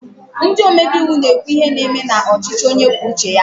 Ndị omebe iwu na-ekwu ihe na-eme n'ọchịchị onye kwue uche ya